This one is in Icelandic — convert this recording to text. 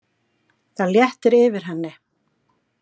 Það léttir yfir henni.